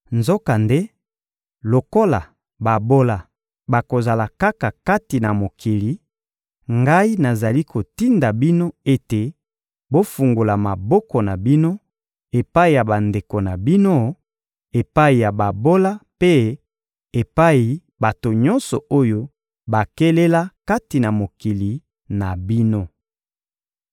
Nzokande lokola babola bakozala kaka kati na mokili, ngai nazali kotinda bino ete bofungola maboko na bino epai ya bandeko na bino, epai ya babola mpe epai bato nyonso oyo bakelela kati na mokili na bino.